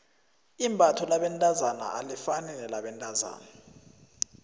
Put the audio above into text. imbatho labentazana alifani nelabentazana